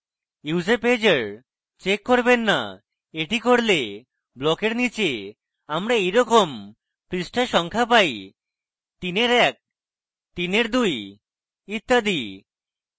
use a pager check করবেন না এটি করলে ব্লকের নীচে আমরা এই রকম পৃষ্ঠা সংখ্যা পাই তিনের etc তিনের দুই ইত্যাদি